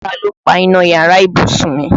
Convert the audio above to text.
Ta ló paná yàrá ìbùsùn mi?